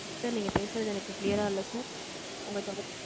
Sir, நீங்க பேசுறது, எனக்கு clear ஆ இல்ல, sir உங்க தொடர்பு